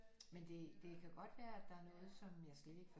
Men det det kan godt være at der er noget som jeg slet ikke